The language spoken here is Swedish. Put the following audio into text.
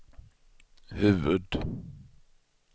huvud